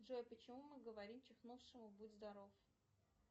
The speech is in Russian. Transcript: джой почему мы говорим чихнувшему будь здоров